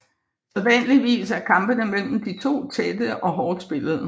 Sædvanligvis er kampene mellem de to tætte og hårdt spillede